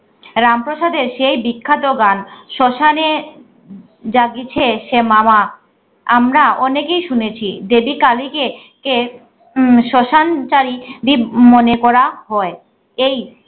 রামপ্রসাদের সেই বিখ্যাত গান শশানে জাগিছে সে মাওয়া আমরা অনেকেই শুনেছি দেবী কালীকে কে উম শশানচারি দীপ মনে করা হয়। এই